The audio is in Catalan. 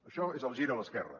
això és el gir a l’esquerra